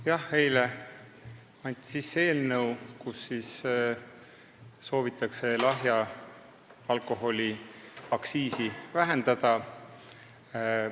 Jah, eile anti sisse eelnõu, millega soovitakse lahja alkoholi aktsiisi vähendada.